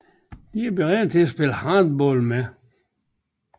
De er beregnet til at spille hardball med